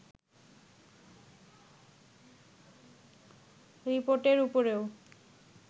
রিপোর্টের ওপরও